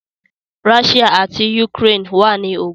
Ráshíà àti Yukrèen wà ní ogùn